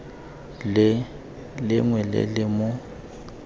le lengwe le le mo